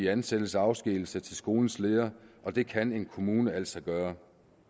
ansættelse og afskedigelse til skolens leder det kan en kommune altså gøre